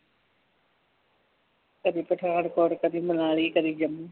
ਕਦੀ ਪਠਾਨਕੋਟ ਕਦੀ ਮਨਾਲੀ ਕਦੀ ਜੰਮੂ